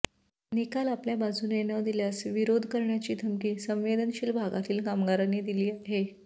निकाल आपल्या बाजूने न दिल्यास विरोध करण्याची धमकी संवेदनशील भागातील कामगारांनी दिली आहे